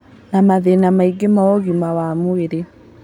Na mathĩna mangĩ ma ũgima wa mwĩrĩ